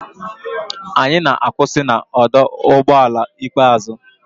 Anyị na-akwụsị na ọdụ ụgbọ ala ikpeazụ.